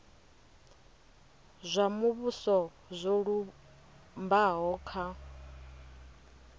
zwa muvhuso zwo lumbaho kha